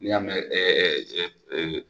N'i y'a mɛn ɛɛ eee